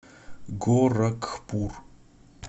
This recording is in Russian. горакхпур